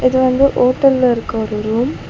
இது வந்து ஓட்டல்ல இருக்க ஒரு ரூம் .